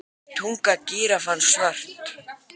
Er tunga gíraffans svört?